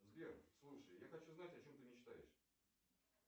сбер слушай я хочу знать о чем ты мечтаешь